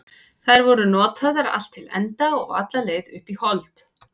Þær voru notaðar allt til enda og alla leið upp í hold.